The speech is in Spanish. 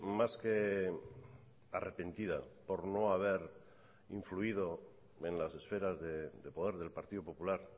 más que arrepentida por no haber influido en las esferas de poder del partido popular